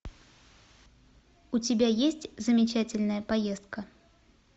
у тебя есть замечательная поездка